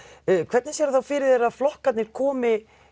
hvernig sérðu þá fyrir þér að flokkarnir komi